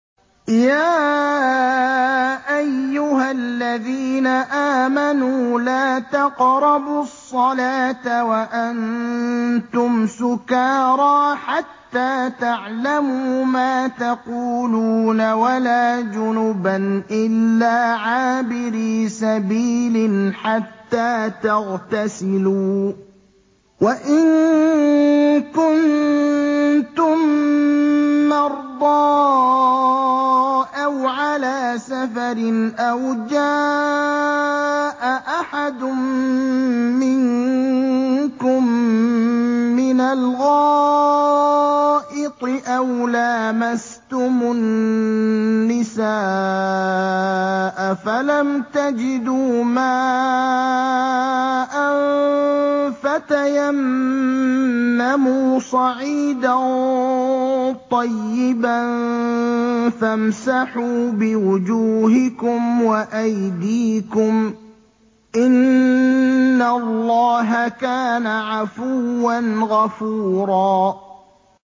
يَا أَيُّهَا الَّذِينَ آمَنُوا لَا تَقْرَبُوا الصَّلَاةَ وَأَنتُمْ سُكَارَىٰ حَتَّىٰ تَعْلَمُوا مَا تَقُولُونَ وَلَا جُنُبًا إِلَّا عَابِرِي سَبِيلٍ حَتَّىٰ تَغْتَسِلُوا ۚ وَإِن كُنتُم مَّرْضَىٰ أَوْ عَلَىٰ سَفَرٍ أَوْ جَاءَ أَحَدٌ مِّنكُم مِّنَ الْغَائِطِ أَوْ لَامَسْتُمُ النِّسَاءَ فَلَمْ تَجِدُوا مَاءً فَتَيَمَّمُوا صَعِيدًا طَيِّبًا فَامْسَحُوا بِوُجُوهِكُمْ وَأَيْدِيكُمْ ۗ إِنَّ اللَّهَ كَانَ عَفُوًّا غَفُورًا